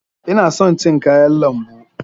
Ina son cin kayan lambu.